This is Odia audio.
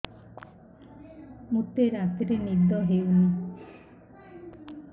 ମୋତେ ରାତିରେ ନିଦ ହେଉନି